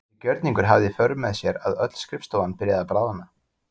Þessi gjörningur hafði í för með sér að öll skrifstofan byrjaði að bráðna.